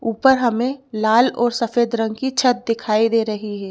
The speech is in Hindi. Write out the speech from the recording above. ऊपर हमें लाल और सफेद रंग की छत दिखाई दे रही है।